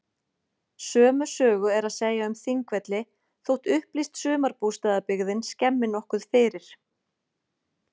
Sömu sögu er að segja um Þingvelli þótt upplýst sumarbústaðabyggðin skemmi nokkuð fyrir.